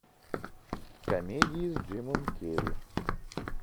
комедии с джимом керри